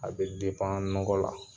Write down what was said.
A bɛ nɔgɔ la